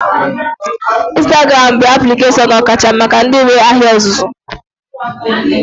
Ịnstagram bụ aplikeshọn ọkacha maka ndị nwee ahịa ọzụzụ